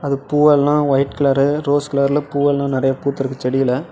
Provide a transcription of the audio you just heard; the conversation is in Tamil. அது பூ எல்லாம் ஒய்ட் கலர்ரு ரோஸ் கலர்ல பூ எல்லாம் நெறய பூத்துருக்கு செடில.